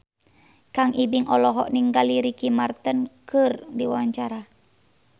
Kang Ibing olohok ningali Ricky Martin keur diwawancara